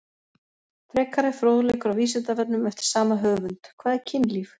Frekari fróðleikur á Vísindavefnum eftir sama höfund: Hvað er kynlíf?